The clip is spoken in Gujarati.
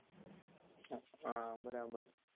હા બરાબર